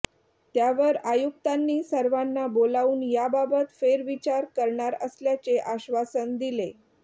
त्यावर आयुक्तांनी सर्वांना बोलावून याबाबत फेरविचार करणार असल्याचे आश्वासन दिले